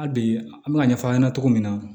Hali bi an bɛ ka ɲɛfɔ an ɲɛna cogo min na